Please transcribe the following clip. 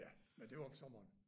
Ja men det var om sommeren